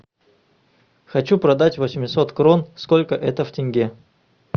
хочу продать восемьсот крон сколько это в тенге